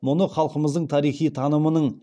мұны халқымыздың тарихи танымының